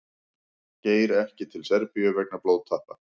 Geir ekki til Serbíu vegna blóðtappa